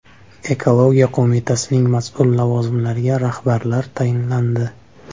Ekologiya qo‘mitasining mas’ul lavozimlariga rahbarlar tayinlandi.